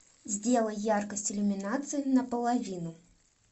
сделай яркость иллюминации на половину